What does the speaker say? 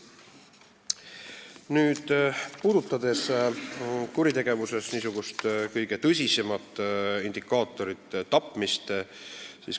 Nüüd puudutan kuritegevuse kõige tõsisemat indikaatorit – tapmiste arvu.